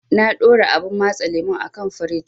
Na ɗora abun matse lemun a kan firij.